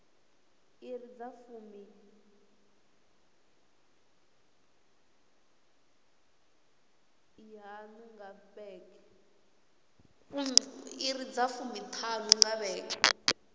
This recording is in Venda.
iri dza fumiṱhanu nga vhege